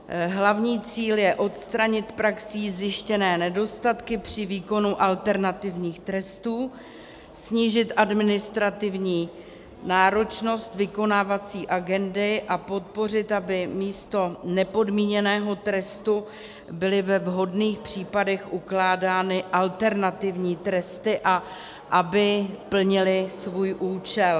Hlavní cíl je odstranit praxí zjištěné nedostatky při výkonu alternativních trestů, snížit administrativní náročnost vykonávací agendy a podpořit, aby místo nepodmíněného trestu byly ve vhodných případech ukládány alternativní tresty a aby plnily svůj účel.